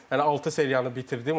mən hələ altı seriyanı bitirdim.